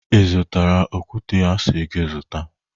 Ị zụtara okwute a si gị zụta?